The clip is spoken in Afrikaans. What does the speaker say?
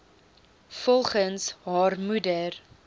volgens haar moeder